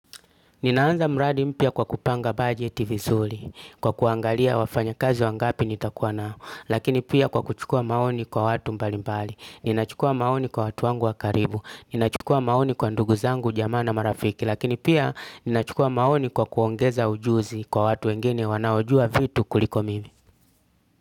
Ninaanza mradi mpya kwa kupanga bugeti vizuri, kwa kuangalia wafanyakazi wangapi nitakuwa nao, lakini pia kwa kuchukua maoni kwa watu mbalimbali, ninachukua maoni kwa watu wangu wa karibu, ninachukua maoni kwa ndugu zangu jamaa na marafiki, lakini pia ninachukua maoni kwa kuongeza ujuzi kwa watu wengine wanaojua vitu kuliko mimi.